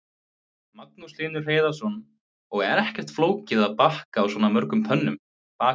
Magnús Hlynur Hreiðarsson: Og ekkert flókið að baka á svona mörgum pönnum?